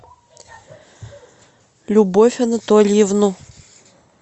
любовь анатольевну